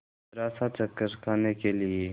जरासा चक्कर खाने के लिए